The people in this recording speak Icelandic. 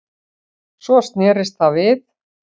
Svo snerist það við